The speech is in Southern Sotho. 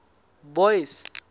boyce